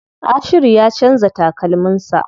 Ashiru ya canza takalmin sa.